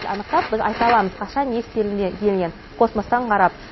анықтап біз айта аламыз қашан не істелінгенен космостан қарап